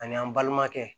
Ani an' balimakɛ